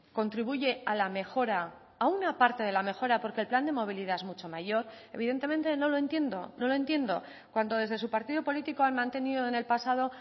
contribuye a la mejora a una parte de la mejora porque el plan de movilidad es mucho mayor evidentemente no lo entiendo no lo entiendo cuando desde su partido político han mantenido en el pasado